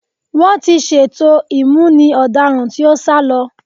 Wọ́n ti ṣètò ìmúni ọ̀daràn tí ó sá lọ.